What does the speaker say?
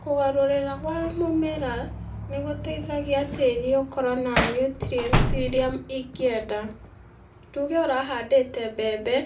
Kũgarũrĩra gwa mĩmera, nĩgũteithagia tĩri ũkorwo na nutrient iria ingĩenda, tuge ũrahandĩte mbembe,